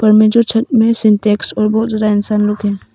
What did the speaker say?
पर में जो छत में से और बहुत ज्यादा इंसान लोग हैं।